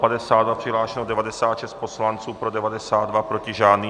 Přihlášeno 96 poslanců, pro 92, proti žádný.